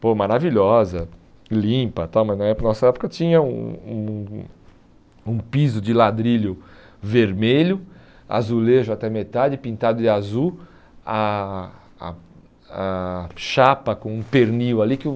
Pô, maravilhosa, limpa, tá, mas na época nossa época tinha um um um piso de ladrilho vermelho, azulejo até metade, pintado de azul, a a a chapa com um pernil ali que eu...